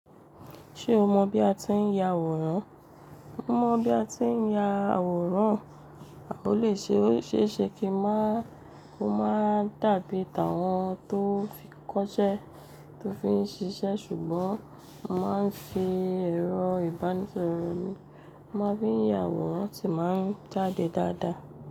Ṣé o mọ bí a ti ń ya àwòrán? Mo mọ bí a ti ń ya àwòrán, a ò lè ṣe é ṣe kí ó má dàbí ìtàn wọn tó fi kọ́ṣẹ́ tó fi ń ṣiṣẹ́ ṣùgbọ́n a máa ń fi ẹ̀rọ ìbánisọ̀rọ̀, a máa ń fi ya àwòrán sì máa ń jáde dáadáa.